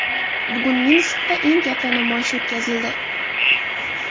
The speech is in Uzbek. Bugun Minskda eng katta namoyish o‘tkazildi .